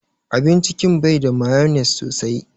Abin cikin bai da mayonnaise sosai.